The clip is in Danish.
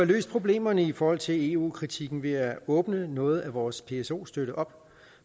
løst problemerne i forhold til eu kritikken ved at åbne noget af vores pso støtte op